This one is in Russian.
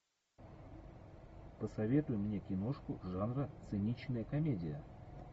посоветуй мне киношку жанра циничная комедия